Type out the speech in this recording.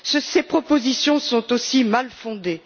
Ces propositions sont aussi mal fondées.